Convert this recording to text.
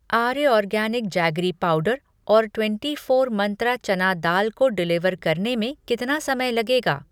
आर्य organic jaggery powder और twenty four Mantra चना दाल को डिलिवर करने में कितना समय लगेगा?